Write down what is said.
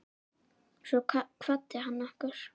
Svo kvaddi hann okkur.